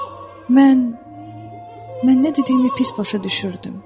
Mən, mən nə dediyimi pis başa düşürdüm.